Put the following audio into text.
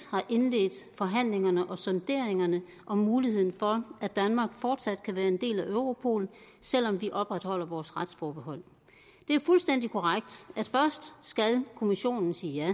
har indledt forhandlingerne om sonderingerne af muligheden for at danmark fortsat kan være en del af europol selv om vi opretholder vores retsforbehold det er jo fuldstændig korrekt at først skal kommissionen sige ja